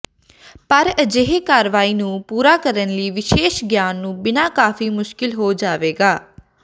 ਪਰ ਅਜਿਹੇ ਕਾਰਵਾਈ ਨੂੰ ਪੂਰਾ ਕਰਨ ਲਈ ਵਿਸ਼ੇਸ਼ ਗਿਆਨ ਨੂੰ ਬਿਨਾ ਕਾਫ਼ੀ ਮੁਸ਼ਕਲ ਹੋ ਜਾਵੇਗਾ